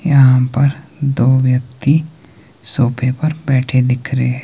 यहां पर दो व्यक्ति सोफे पर बैठे दिख रहे हैं।